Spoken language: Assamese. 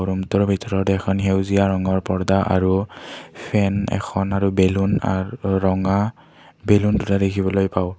ৰূমটোৰ ভিতৰত এখন সেউজীয়া ৰঙৰ পৰ্দ্দা আৰু ফেন এখন আৰু বেলুন আৰু ৰঙা বেলুন দুটা দেখিবলৈ পাওঁ।